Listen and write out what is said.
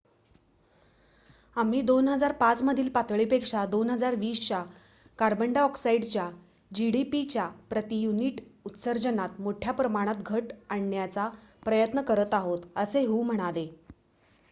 """आम्ही २००५ मधील पातळीपेक्षा २०२० च्या कार्बन डायऑक्साइडच्या gdp च्या प्रति युनिट उत्सर्जनात मोठ्या प्रमाणात घट आणण्याचा प्रयत्न करत आहोत," असे हु म्हणाले.